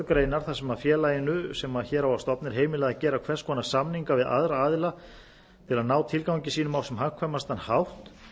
grein þar sem félaginu sem hér á að stofna er heimilað að gera hvers konar samninga við aðra aðila til að ná tilgangi sínum á sem hagkvæmastan hátt